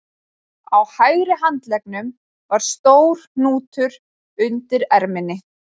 Á hægri handleggnum var stór hnútur undir erminni